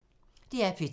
DR P2